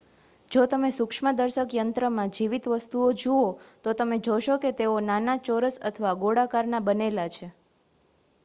જો તમે સૂક્ષ્મદર્શક યંત્રમાં જીવિત વસ્તુઓ જુઓ તો તમે જોશો કે તેઓ નાના ચોરસ અથવા ગોળાકારનાં બનેલા છે